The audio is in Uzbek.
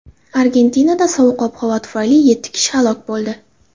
Argentinada sovuq ob-havo tufayli yetti kishi halok bo‘ldi.